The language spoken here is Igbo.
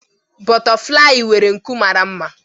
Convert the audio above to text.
Bọtaflai nwere nku mara mma.